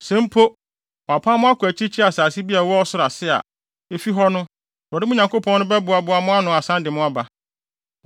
Sɛ mpo, wɔapam mo kɔ akyirikyiri asase bi a ɛwɔ ɔsoro ase a, efi hɔ no, Awurade, mo Nyankopɔn no, bɛboaboa mo ano asan de mo aba.